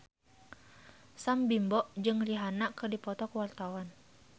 Sam Bimbo jeung Rihanna keur dipoto ku wartawan